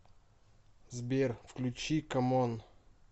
сбер включи коммон